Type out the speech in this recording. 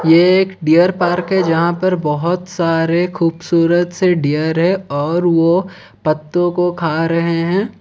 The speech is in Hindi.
ये एक डियर पार्क है जहां पर बहोत सारे खूबसूरत से डियर है और वो पत्तों को खा रहे हैं।